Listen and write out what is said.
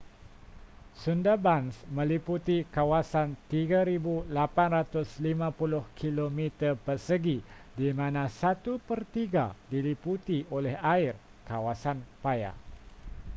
sundarbans meliputi kawasan 3,850 km², di mana satu pertiga diliputi oleh air/kawasan paya